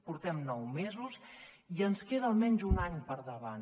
portem nou mesos i ens queda almenys un any per endavant